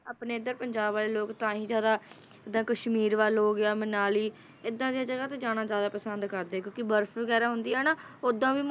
ਆਪਣੇ ਇੱਧਰ ਪੰਜਾਬ ਵਾਲੇ ਲੋਕ ਤਾਂ ਹੀ ਜ਼ਿਆਦਾ ਜਿੱਦਾਂ ਕਸ਼ਮੀਰ ਵੱਲ ਹੋ ਗਿਆ, ਮਨਾਲੀ, ਏਦਾਂ ਦੀਆਂ ਜਗ੍ਹਾ ਤੇ ਜਾਣਾ ਜ਼ਿਆਦਾ ਪਸੰਦ ਕਰਦੇ ਆ, ਕਿਉਂਕਿ ਬਰਫ਼ ਵਗ਼ੈਰਾ ਹੁੰਦੀ ਆ ਨਾ, ਓਦਾਂ ਵੀ,